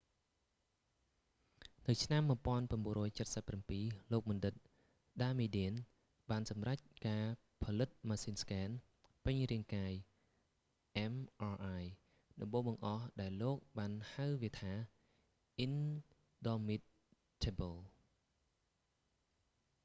នៅឆ្នាំ 1977 លោកបណ្ឌិត ដាម៉ាឌៀន damadian បានសម្រេចការផលិតម៉ាស៊ីនស្គែន ពេញរាងកាយ mri ដំបូងបង្អស់ដែលលោកបានហៅវាថា អ៊ីនដមមីតថឹប៊ល indomitable